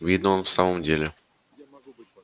видно он в самом деле